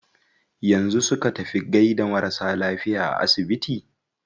Yanzu su ka tafi gaida marasa lafiya a asibiti?